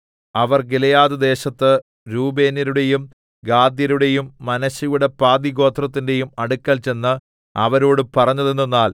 അവർ ഗിലെയാദ്‌ദേശത്ത് രൂബേന്യരുടെയും ഗാദ്യരുടെയും മനശ്ശെയുടെ പാതിഗോത്രത്തിന്റെയും അടുക്കൽ ചെന്ന് അവരോട് പറഞ്ഞതെന്തെന്നാൽ